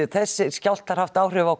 þessir skjálftar haft áhrif á